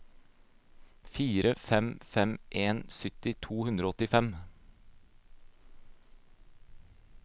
fire fem fem en sytti to hundre og åttifem